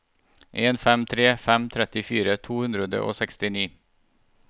en fem tre fem trettifire to hundre og sekstini